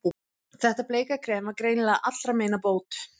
Þetta bleika krem var greinilega allra meina bót.